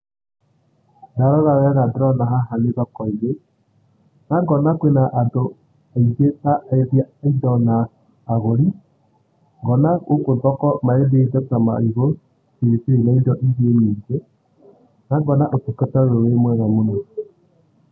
Ndarora wega ndĩrona haha nĩ thoko-inĩ, na ngona kwĩna andũ aingĩ ta endia a indo na agũri. Ngona gũkũ thoko marendia indo ta marigũ filifili na indoingĩ nyingĩ na ngona ũtungata ũyũ wĩmwega mũno.